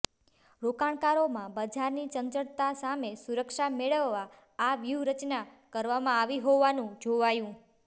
રોકાણકારોમાં બજારની ચંચળતા સામે સુરક્ષા મેળવવા આ વ્યૂહરચના કરવામાં આવી હોવાનું જોવાયું